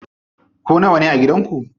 Ku nawane a gidan ku?